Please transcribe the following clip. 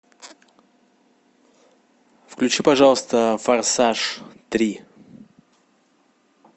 включи пожалуйста форсаж три